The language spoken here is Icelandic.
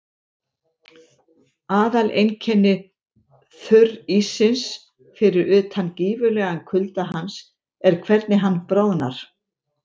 Aðaleinkenni þurríssins, fyrir utan gífurlegan kulda hans, er hvernig hann bráðnar.